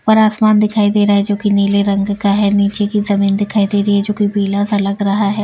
ऊपर आसमान दिखाई दे रहा है जो कि नीले रंग का है नीचे की जमीन दिखाई दे रही है जो कि पीला-सा लग रहा है।